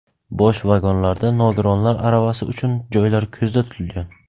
Bosh vagonlarda nogironlar aravasi uchun joylar ko‘zda tutilgan.